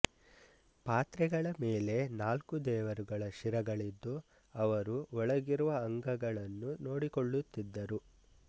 ಪಾತ್ರೆಗಳ ಮೇಲೆ ನಾಲ್ಕು ದೇವರುಗಳ ಶಿರಗಳಿದ್ದು ಅವರು ಒಳಗಿರುವ ಅಂಗಗಳನ್ನು ನೋಡಿಕೊಳ್ಳುತ್ತಿದ್ದರು